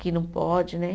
Que não pode, né?